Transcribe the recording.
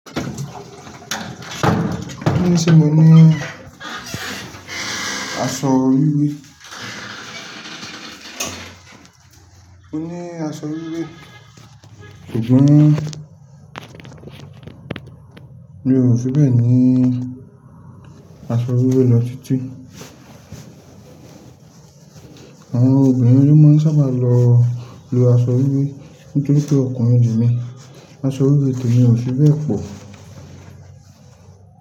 Mo ní Ṣé mo ní aṣọ wíwé? Mo ní aṣọ wíwé ṣùgbọ́n ni mi ò fi bẹ́ẹ̀ ní aṣọ wíwé lọ títí. Àwọn obìnrin ló máa ń sábà lo aṣọ wíwé nítorí pé ọkùnrin ò le emí. Aṣọ wíwé te mi ò ṣíbẹ́ẹ̀ pọ̀